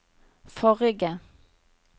forrige